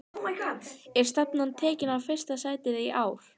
Er stefnan tekin á fyrsta sætið í ár?